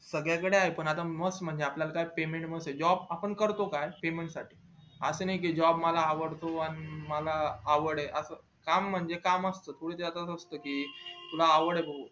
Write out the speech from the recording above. सगळ्यानकडे आहे पण आपल्या काय most म्हणजे आपल्या काय payment महत्वा च job आपण करतो का payment साठी असं नई का job मला अडवतो आणि मला आवड ये असं काम म्हणजे काम असत कि तुला आवड ये भाऊ